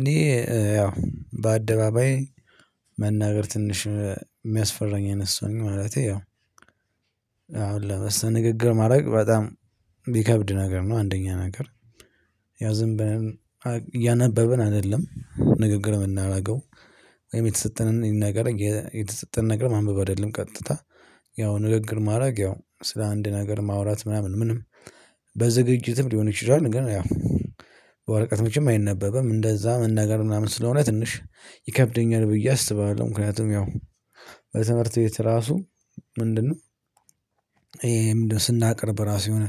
እኔ ያው በአደባባይ መናገር ትንሽ የሚያስፈራኝ አይነት ሰው ነኝ ማለቴ ያው አሁን ለመስተ ንግግር ማድረግ በጣም ሚከብድ ነገር ነው። አንደኛ ነገር ያው ዝም ብለን እያነበብን አይደለም ንግግር የምናደርገው ወይም የተሰጠንን ነገር የተሰጠንን ነገር ማንበብ አይደለም ቀጥታ ያው ንግግር ማድረግ ያው ስለ አንድ ነገር ማውራት ምናምን ምንም በዝግጅትም ሊሆን ይችላል። ግን ያው በወረቀቶችም አይነበበም እንደዛ መናገር ምናምን ስለሆነ ትንሽ ይከብደኛል ብዬ አስባለሁ። ምክንያቱም ያው በትምህርት ቤት ራሱ ምንድነው? ይሄ ምንድነው? ስናቀርብ ራሱ የሆነ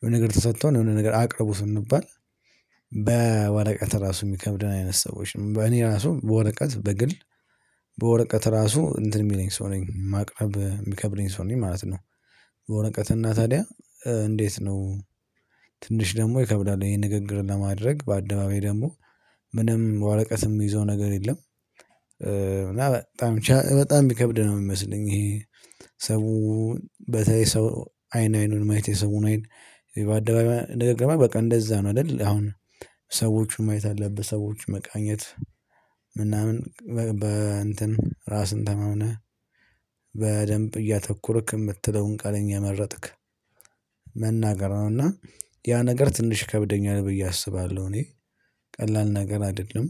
የሆነ ነገር ተሰጥቶናል የሆነ ነገር አቅርቡ ስንባል በወረቀት ራሱ የሚከብድን አይነት ሰዎች ነን በእኔ ራሱ በወረቀት በግል በወረቀት ራሱ እንትን የሚለኝ ሰው ነኝ ማቅረብ የሚከብደኝ ሰው ነኝ ማለት ነው። በወረቀት እና ታዲያ እንዴት ነው? ትንሽ ደግሞ ይከብዳል ይሄን ንግግር ለማድረግ በአደባባይ ደግሞ ምንም ወረቀትም የምይዘው ነገር የለም። እና በጣም በጣም የሚከብድ ነው የሚመስለኝ ይሄ። ሰው በተለይ ሰው አይን አይኑን ማየት የሰውን አይን በአደባባይ ንግግር ማለት በቃ እንደዛ ነው አይደል? አሁን ሰዎቹን ማየት አለብህ ሰዎችን መቃኘት ምናምን በእንትን ራስን ተመሆነ በደንብ እያተኮርክ የምትለውን ቃል እየመረጥክ መናገር ነው። እና ያ ነገር ትንሽ ይከብደኛል ብዬ አስባለሁ። እኔ ቀላል ነገር አይደለም።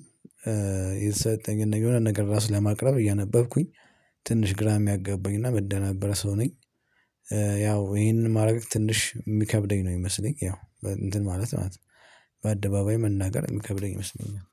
የተሰጠኝን ነገር የሆነ ነገር ራስ ለማቅረብ እያነበብኩኝ ትንሽ ግራ የሚያጋባኝ እና ምደናበር ሰው ነኝ። ያው ይሄንን ማድረግ ትንሽ የሚከብደኝ ነው የሚመስለኝ ያው እንትን ማለት ነው። በአደባባይ መናገር የሚከብደኝ ይመስለኛል